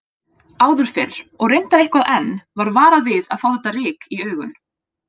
Áður fyrr, og reyndar eitthvað enn, var varað við að fá þetta ryk í augun.